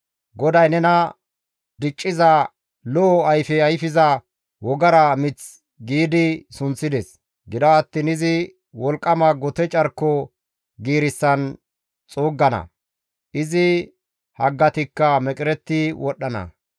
GODAY nena, ‹Dicciza, Lo7o ayfe ayfiza wogara mith› giidi sunththides. Gido attiin izi wolqqama gote carko giirissan xuuggana; izi haggatikka meqeretti wodhdhana.